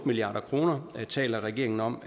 milliard kroner taler regeringen om